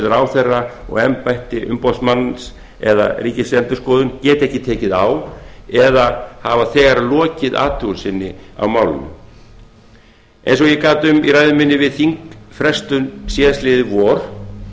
ráðherra og embætti umboðsmanns eða ríkisendurskoðun geta ekki tekið á eða hafa þegar lokið athugun sinni á málinu eins og ég gat um í ræðu minni við þingfrestun síðasta vor